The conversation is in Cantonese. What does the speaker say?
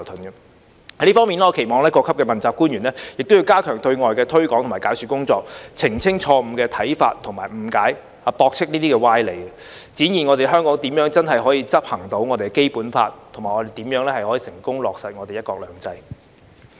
在這方面，我期望各級問責官員亦要加強對外的推廣及解說工作，澄清錯誤的看法及誤解，駁斥這些歪理，展現香港如何全面執行《基本法》及成功落實"一國兩制"。